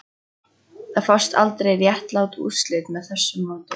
Það fást aldrei réttlát úrslit með því móti